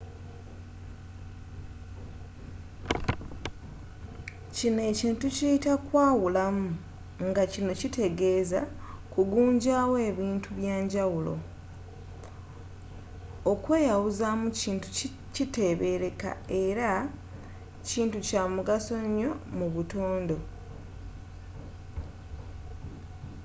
kino ekintu tukiyita kwawulamu nga kino kitegeeza kugunjaawo bintu bya njawulo okweyawuzamu kintu kitebeereka era kintu kya mugaso nnyo mu butonde